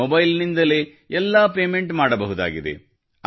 mobile ನಿಂದಲೇ ಎಲ್ಲಾ payment ಮಾಡಬಹುದಾಗಿದೆ